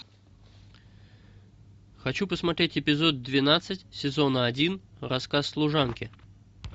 хочу посмотреть эпизод двенадцать сезона один рассказ служанки